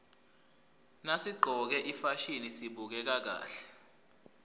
nasiqcoke ifasihni sibukeka kahle